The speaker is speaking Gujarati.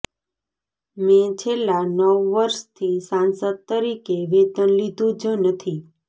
મેં છેલ્લા નવ વર્ષથી સાંસદ તરીકે વેતન લીધું જ નથી